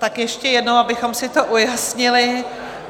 Tak ještě jednou, abychom si to ujasnili.